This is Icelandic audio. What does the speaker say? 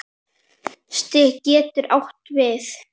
Stig getur átt við